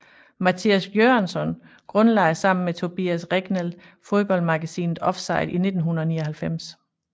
Mattias Göransson grundlagde sammen med Tobias Regnell fodboldmagasinet Offside i 1999